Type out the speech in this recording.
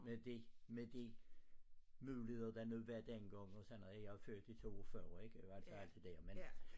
Med de med de muligheder der nu var dengang og sådan noget jeg er født i 42 ik altså alt det dér